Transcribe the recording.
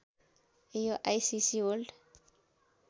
यो ICC world